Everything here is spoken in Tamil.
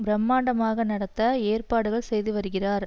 பிரமாண்டமாக நடத்த ஏற்பாடுகள் செய்து வருகிறார்